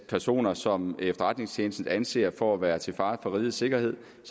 personer som efterretningstjenesten anser for at være til fare for rigets sikkerhed